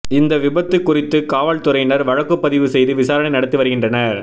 இந்த விபத்து குறித்து காவல்துறையினர் வழக்குப்பதிவு செய்து விசாரணை நடத்தி வருகின்றனர்